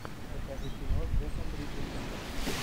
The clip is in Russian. покажи кино с джеффом бриджесом